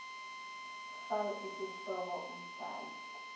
fal isihloko umbhali